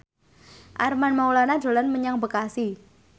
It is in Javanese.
Armand Maulana dolan menyang Bekasi